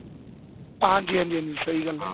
ਹਾਂਜੀ ਹਾਂਜੀ ਸਹੀ ਗੱਲ ਏ